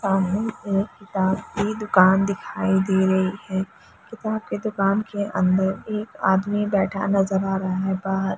सामने एक किताब की दुखान दिखाई दे रही हैं किताब की दुखान की अंदर एक आदमी बैठा नजर आ रहा है बाहर--